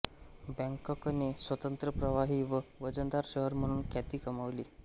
बॅंकॉकने स्वतंत्र प्रवाही व वजनदार शहर म्हणून ख्याती कमावली